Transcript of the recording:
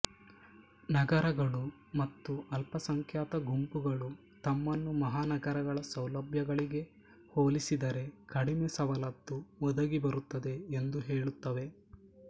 ನಗರಗಳು ಮತ್ತು ಅಲ್ಪಸಂಖ್ಯಾತ ಗುಂಪುಗಳು ತಮ್ಮನ್ನು ಮಹಾನಗರಗಳ ಸೌಲಭ್ಯಗಳಿಗೆ ಹೋಲಿಸಿದರೆ ಕಡಿಮೆ ಸವಲತ್ತು ಒದಗಿ ಬರುತ್ತದೆ ಎಂದು ಹೇಳುತ್ತವೆ